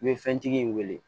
I bɛ fɛntigi in wele